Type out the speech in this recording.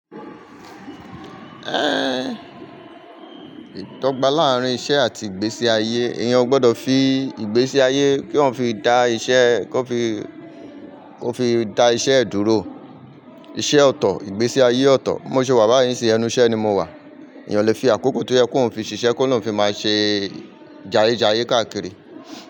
Eh, ìdọ́gba láàárín iṣẹ́ àti ìgbésí ayé, èèyàn ò gbọdọ̀ fi ìgbésí ayé kí èyàn fi dá iṣẹ́ kó fi, kó fi dá iṣẹ́ ẹ̀ dúró. Iṣẹ́ ọ̀tọ̀, ìgbésí ayé ọ̀tọ̀. Bí mo ṣe wà báyìí nísìnyí ẹnu ìṣẹ́ ni mo wà. Ẹ̀yàn lè fi àkókò tó yẹ kó òun fi ṣiṣẹ́ kó lóun fi máa ṣe jayéjayé káàkiri.